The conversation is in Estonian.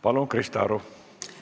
Palun, Krista Aru!